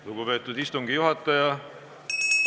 Lugupeetud istungi juhataja!